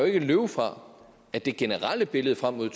ikke løbe fra at det generelle billede frem mod